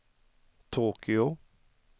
Tokyo